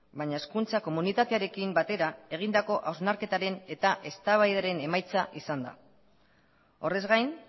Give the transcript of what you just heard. baina hezkuntza komunitatearekin batera egindako hausnarketaren eta eztabaidaren emaitza izan da horrez gain